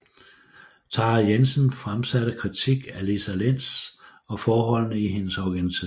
Tara Jensen fremsatte krititk af Lisa Lents og forholdene i hendes organisation